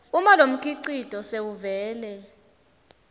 uma lomkhicito sewuvele